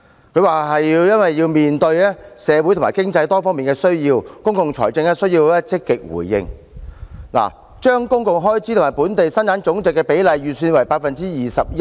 司長表示要"面對社會和經濟多方面的需要，公共財政也需要積極回應"，因此將公共開支與本地生產總值的比例稍為提高至 21%。